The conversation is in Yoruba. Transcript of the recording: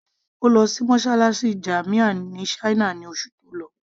Ó lọ sí mosálásí jamia ní china ní oṣù tó lọ